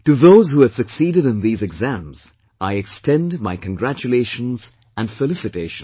To those who have succeeded in these exams, I extend my congratulations and felicitations